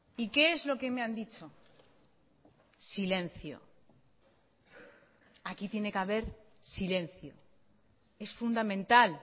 y qué es lo que me han dicho silencio aquí tiene que haber silencio es fundamental